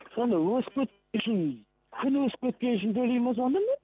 сонда өсіп үшін күні өсіп кеткені үшін төлеймін ба сонда мен